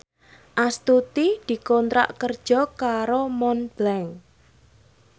Astuti dikontrak kerja karo Montblanc